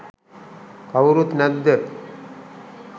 කවුරුත් නැද්ද?